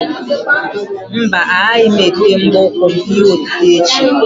Mba, agaghị m ete mbọ ụkwụ m ihe otite echi.